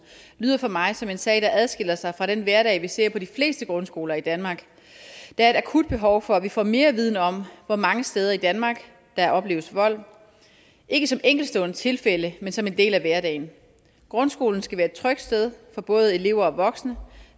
lyder for mig som en sag der adskiller sig fra den hverdag vi ser på de fleste grundskoler i danmark der er et akut behov for at vi får mere viden om hvor mange steder i danmark der opleves vold ikke som enkeltstående tilfælde men som en del af hverdagen grundskolen skal være et trygt sted for både elever og voksne